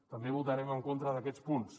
també votarem en contra d’aquests punts